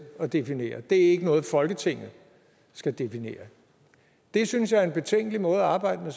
at definere det er ikke noget folketinget skal definere det synes jeg er en betænkelig måde at arbejde med